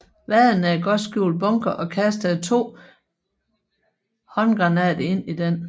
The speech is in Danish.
Vaden en godt skjult bunker og kastede to håndgranater ind i den